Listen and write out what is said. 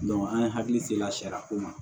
an ye hakili se la sariya ko ma